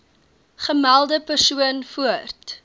gemelde persoon voort